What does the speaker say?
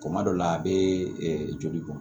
Kuma dɔ la a bɛ joli bɔ